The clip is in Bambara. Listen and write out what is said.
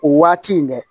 O waati in dɛ